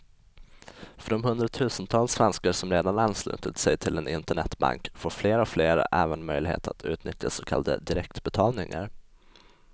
För de hundratusentals svenskar som redan anslutit sig till en internetbank får fler och fler även möjlighet att utnyttja så kallade direktbetalningar.